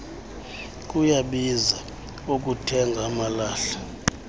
kuyabiza ukuzithenga amalahle